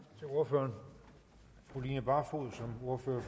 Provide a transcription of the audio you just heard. må have